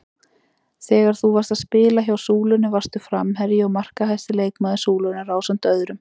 Þegar þú varst að spila hjá Súlunni varstu framherji og markahæsti leikmaður Súlunnar ásamt öðrum?